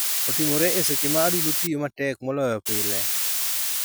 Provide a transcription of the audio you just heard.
Otimore e seche ma adundo otiyo matek moloyo pile.